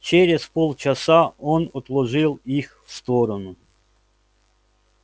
через полчаса он отложил их в сторону